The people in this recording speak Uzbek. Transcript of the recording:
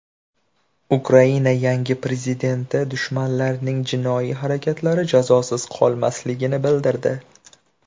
Ukraina yangi prezidenti dushmanlarning jinoiy harakatlari jazosiz qolmasligini bildirdi.